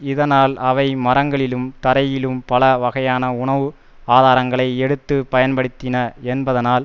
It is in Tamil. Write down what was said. இதனால் அவை மரங்களிலும் தரையிலும் பல வகையான உணவு ஆதாரங்களை எடுத்து பயன்படுத்தின என்பதால்